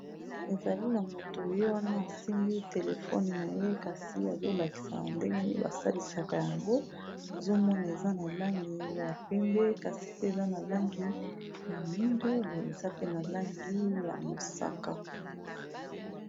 ezali na moto oyo wana asimbi telefone na ye kasi azolakisaa ndengeni basalisaka yango azomona eza na langi ya pembe kasi pe eza na langi ya mundu boi eza pe na langi ya mosaka